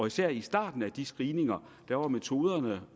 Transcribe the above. især i starten af de screeninger var metoderne